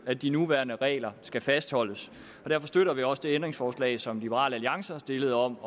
at de nuværende regler skal fastholdes og derfor støtter vi også det ændringsforslag som liberal alliance har stillet om